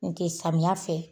N tɛ samiya fɛ